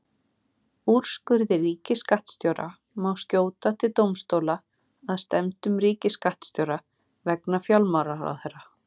Úrskurði ríkisskattstjóra má skjóta til dómstóla að stefndum ríkisskattstjóra vegna fjármálaráðherra.